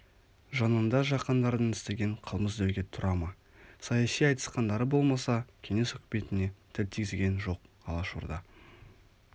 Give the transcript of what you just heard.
жанында жақаңдардың істеген қылмыс деуге тұра ма саяси айтысқандары болмаса кеңес үкіметіне тіл тигізген жоқ алашорда